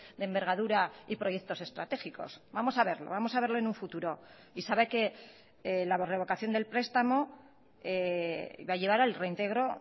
de envergadura y proyectos estratégicos vamos a verlo vamos a verlo en un futuro y sabe que la revocación del prestamo va a llevar al reintegro